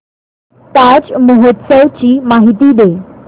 ताज महोत्सव ची माहिती दे